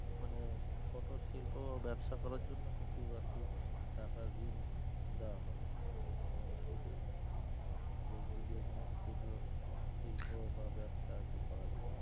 মানে ছোট শিল্প ও ব্যাবসা করার জন্য কিছু আরকি টাকা ঋণ দেওয়া হবে মানে মানে কম সুদে যেগুলো কোন ক্ষুদ্র শিল্প বা ব্যবসা যে করা যাবে।